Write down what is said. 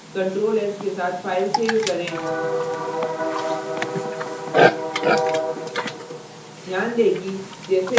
ctrl s के साथ file save करें